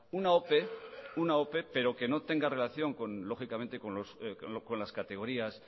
una ope una ope pero que no tenga relación con lógicamente con las categorías